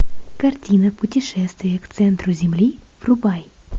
картина путешествие к центру земли врубай